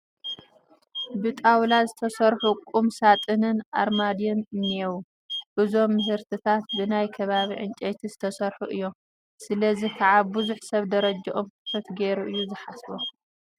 ብጣውላ ዝተሰርሑ ቁም ሳጥንን ኣርማድዮን እኔዉ፡፡ እዞም ምህርትታት ብናይ ከባቢ ዕንጨይቲ ዝተሰርሑ እዮም፡፡ ስለዚ ከዓ ብዙሕ ሰብ ደረጅኦም ትሑት ገይሩ እዩ ዝሓስቦም፡፡